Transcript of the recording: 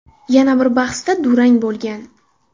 Yana bir bahsda durang bo‘lgan.